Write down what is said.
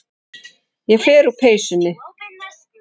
Ég fer úr peysunni.